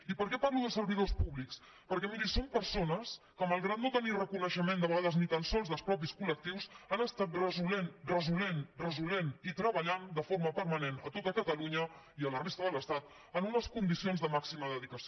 i per què parlo de servidors públics perquè miri són persones que malgrat que no tenen reconeixement de vegades ni tan sols dels mateixos col·lectius han estat resolent resolent resolent i treballant de forma permanent a tot catalunya i a la resta de l’estat en unes condicions de màxima dedicació